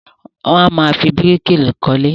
Won amáa fi bíríkì kólé.